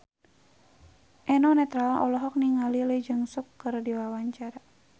Eno Netral olohok ningali Lee Jeong Suk keur diwawancara